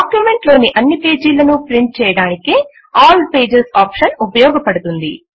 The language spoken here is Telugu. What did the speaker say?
డాక్యుమెంట్ లోని అన్నీ పేజీలను ప్రింట్ చేయడానికే ఆల్ పేజెస్ ఆప్షన్ ఉపయోగపడుతుంది